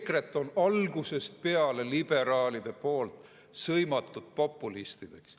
EKRE-t on algusest peale liberaalid sõimanud populistideks.